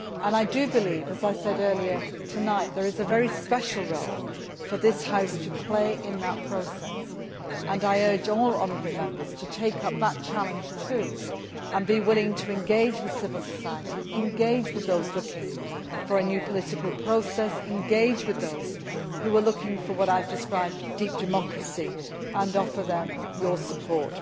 I do believe, as I said earlier tonight, that there is a very special role for this House to play in that process, and I urge all the honourable Members to take up that challenge too, and be willing to engage with civil society engage with those looking for a new political process, engage with those who are looking for what I have described as deep democracy' and offer them your support.